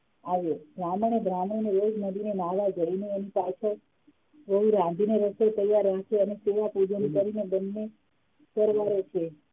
આવ્યો બ્રાહ્મણે બ્રાહ્મણીને વેજ નદીને નાલા જડીને રાંધીને રસોઈ તૈયાર રાખજે અને પેલા પૂજન કરીને બંને તૈયાર રહેશે